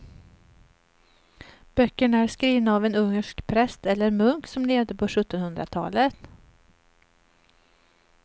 Böckerna är skrivna av en ungersk präst eller munk som levde på sjuttonhundratalet.